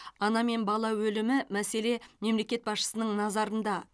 ана мен бала өлімі мәселе мемлекет басшысының назарында